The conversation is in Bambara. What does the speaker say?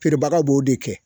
Feerebaga b'o de kɛ.